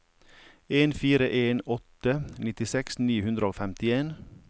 en fire en åtte nittiseks ni hundre og femtien